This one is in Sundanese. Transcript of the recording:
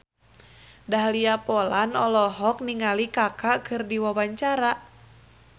Dahlia Poland olohok ningali Kaka keur diwawancara